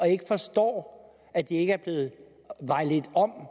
ikke forstår at de ikke er blevet vejledt om